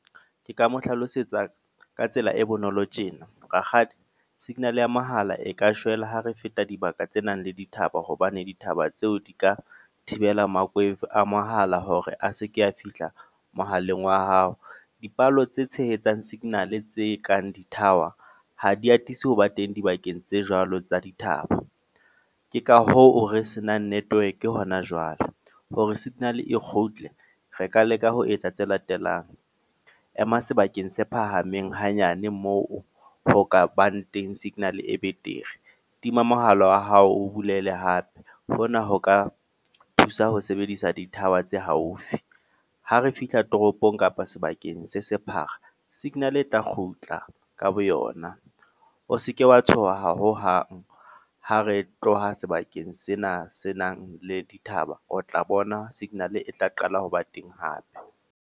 Ke ka mo hlalosetsa ka tsela e bonolo tjena. Rakgadi signal ya mahala e ka shwela ha re feta dibaka tse nang le dithaba, hobane ditaba tseo di ka thibela makweva a mahala hore a seke a fihla mohaleng wa hao. Dipalo tse tshehetsang signal tse kang di-tower ha di atise ho ba teng dibakeng tse jwalo tsa dithaba. Ke ka hoo re se nang network hona jwale. Hore signal e kgutle, re ka leka ho etsa tse latelang. Ema sebakeng se phahameng hanyane moo ho kabang teng signal e betere. Tima mohala wa hao o bulele hape. Hona ho ka thusa ho sebedisa di-tower tse haufi. Ha re fihla toropong kapa sebakeng se sephara, signal e tla kgutla ka boyona. O se ke wa tshoha hohang, ha re tloha sebakeng sena se nang le dithaba. O tla bona signal e tla qala ho ba teng hape.